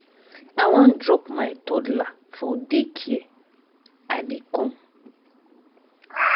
i wan drop my toddler for day care. i dey come.